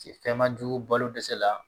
Cɛ fɛn ma jugu balo dɛsɛ la